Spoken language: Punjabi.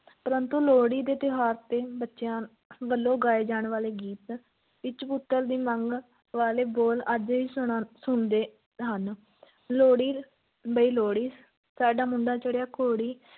ਪਰੰਤੂ ਲੋਹੜੀ ਦੇ ਤਿਉਹਾਰ ਤੇ ਬੱਚਿਆਂ ਵੱਲੋਂ ਗਾਏ ਜਾਣ ਵਾਲੇ ਗੀਤ ਵਿੱਚ ਪੁੱਤਰ ਦੀ ਮੰਗ ਵਾਲੇ ਬੋਲ ਅੱਜ ਵੀ ਸੁਣਾ~ ਸੁਣਦੇ ਹਨ ਲੋਹੜੀ ਬਈ ਲੋਹੜੀ, ਸਾਡਾ ਮੁੰਡਾ ਚੜ੍ਹਿਆ ਘੋੜੀ।